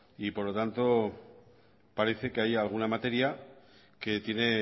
por lo tanto parece que hay alguna materia que tiene